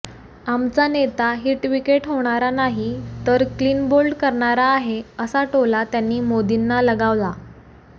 आमचा नेता हिटविकेट होणारा नाही तर क्लीनबोल्ड करणारा आहे असा टोला त्यांनी मोदींना लगावला